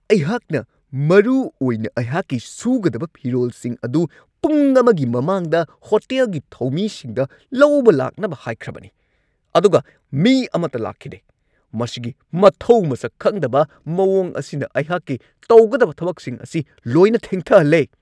ꯑꯩꯍꯥꯛꯅ ꯃꯔꯨꯑꯣꯏꯅ ꯑꯩꯍꯥꯛꯀꯤ ꯁꯨꯒꯗꯕ ꯐꯤꯔꯣꯜꯁꯤꯡ ꯑꯗꯨ ꯄꯨꯡ ꯑꯃꯒꯤ ꯃꯃꯥꯡꯗ ꯍꯣꯇꯦꯜꯒꯤ ꯊꯧꯃꯤꯁꯤꯡꯗ ꯂꯧꯕ ꯂꯥꯛꯅꯕ ꯍꯥꯏꯈ꯭ꯔꯕꯅꯤ, ꯑꯗꯨꯒ ꯃꯤ ꯑꯃꯠꯇ ꯂꯥꯛꯈꯤꯗꯦ ꯫ ꯃꯁꯤꯒꯤ ꯃꯊꯧ ꯃꯁꯛ ꯈꯪꯗꯕ ꯃꯋꯣꯡ ꯑꯁꯤꯅ ꯑꯩꯍꯥꯛꯀꯤ ꯇꯧꯒꯗꯕ ꯊꯕꯛꯁꯤꯡ ꯑꯁꯤ ꯂꯣꯏꯅ ꯊꯦꯡꯊꯍꯜꯂꯦ !